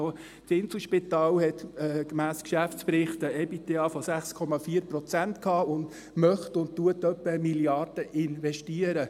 Auch das Inselspital hatte gemäss Geschäftsbericht ein EBITDA von 6,4 Prozent und möchte etwa 1 Mrd. Franken investieren.